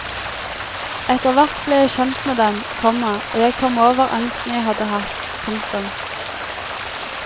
Etter hvert ble jeg kjent med dem, komma og jeg kom over angsten jeg hadde hatt. punktum